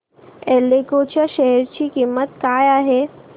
एल्डेको च्या शेअर ची किंमत काय आहे